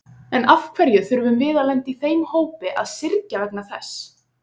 En af hverju þurfum við að lenda í þeim hópi að syrgja vegna þess?